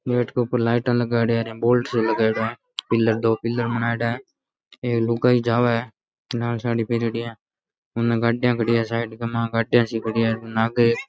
gate के ऊपर light लगाएडा है बोर्ड से लगाओड़ा है पिलर बनेड़ा है एक लुगाई जावे है लाल सी साड़ी पेहड़े है गाड़िया खड़ी है साइड में --